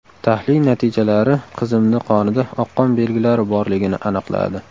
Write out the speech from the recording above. Tahlil natijalari qizimni qonida oqqon belgilari borligini aniqladi.